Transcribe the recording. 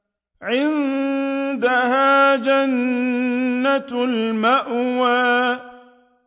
عِندَهَا جَنَّةُ الْمَأْوَىٰ